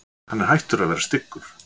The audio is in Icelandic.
Hann er hættur að vera styggur